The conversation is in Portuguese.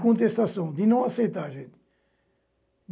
De contestação, de não aceitar, gente.